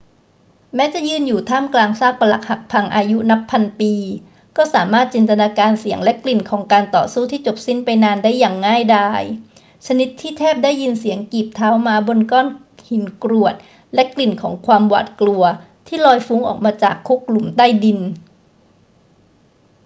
แม้จะยืนอยู่ท่ามกลางซากปรักหักพังอายุนับพันปี ก็สามารถจินตนาการเสียงและกลิ่นของการต่อสู้ที่จบสิ้นไปนานได้อย่างง่ายดาย ชนิดที่แทบได้ยินเสียงกีบเท้าม้าบนก้อนหินกรวดและกลิ่นของความหวาดกลัวที่ลอยฟุ้งออกมาจากคุกหลุมใต้ดิน